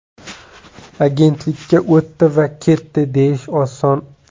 Agentlikka o‘tdi va ketdi deyish oson.